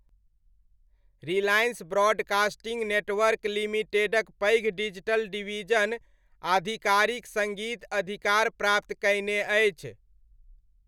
Reliance broadcasting network लिमिटेडक पैघ digital division आधिकारिक सङ्गीत अधिकार प्राप्त कयने अछि।